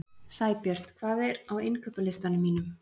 Sæbjört, hvað er á innkaupalistanum mínum?